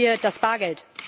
Erhalten wir das Bargeld!